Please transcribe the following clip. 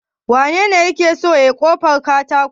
Wanene yake so yayi ƙofar katakon?